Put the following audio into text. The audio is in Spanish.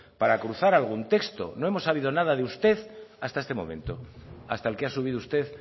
para cruzar algún texto no hemos sabido nada de usted hasta este momento hasta el que ha subido usted